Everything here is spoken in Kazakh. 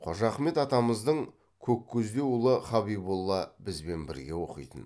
қожа ахмет атамыздың көккөздеу ұлы хабиболла бізбен бірге оқитын